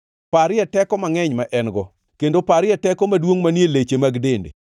Parie teko mangʼeny ma en-go, kendo parie teko maduongʼ manie leche mag dende!